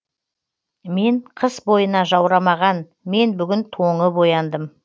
мен қыс бойына жаурамаған мен бүгін тоңып ояндым